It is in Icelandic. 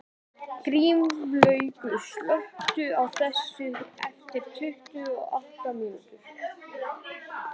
Grímlaugur, slökktu á þessu eftir tuttugu og átta mínútur.